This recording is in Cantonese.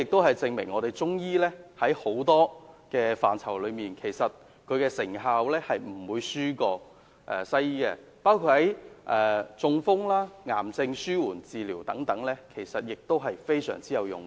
這證明中醫在很多範疇的成效都不比西醫差，包括中風、癌症紓緩治療等亦非常有用。